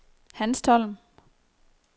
Hanstholm